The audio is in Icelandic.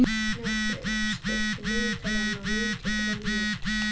Snjófríður, stilltu niðurteljara á níutíu og þrjár mínútur.